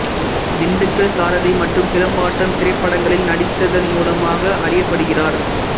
திண்டுக்கல் சாரதி மற்றும் சிலம்பாட்டம் திரைப்படங்களில் நடித்ததன் மூலமாக அறியப்படுகிறார்